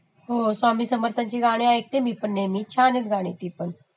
हो स्वामीं समर्थांची गाणी ऐकते मी पण नेहमी छान आहेत ती पण